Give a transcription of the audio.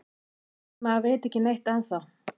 En maður veit ekki neitt ennþá